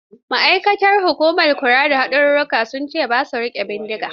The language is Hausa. Ma'aikatan hukumar kula da haɗurra sun ce su ba sa riƙe bindiga.